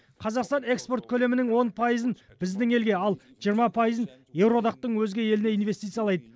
қазақстан экспорт көлемінің он пайызын біздің елге ал жиырма пайызын еуроодақтың өзге еліне инвестициялайды